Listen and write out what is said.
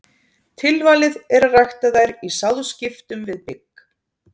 Tilvalið er að rækta þær í sáðskiptum við bygg.